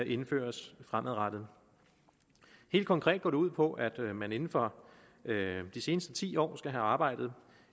indføres fremadrettet helt konkret går det ud på at man inden for de seneste ti år skal have arbejdet